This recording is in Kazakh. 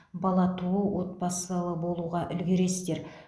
бала туу отбасылы болуға үлгересіздер